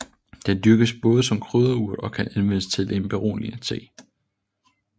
Den dyrkes både som krydderurt og kan anvendes til en beroligende te